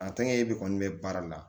A tɛkɛ bɛ kɔni bɛ baara la